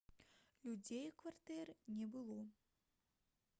людзей у кватэры не было